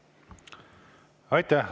Aitäh!